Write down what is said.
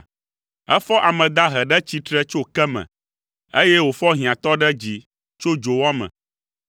Efɔ ame dahe ɖe tsitre tso ke me, eye wòfɔ hiãtɔ ɖe dzi tso dzowɔ me;